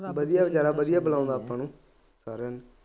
ਵਧੀਆ ਬੇਚਾਰਾ ਵਧੀਆ ਬੁਲਾਉਂਦਾ ਆਪਾਂ ਨੂੰ ਸਾਰਿਆਂ ਨੂੰ